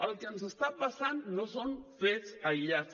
el que ens està passant no són fets aïllats